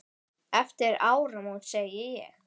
Eftir áramót sagði ég.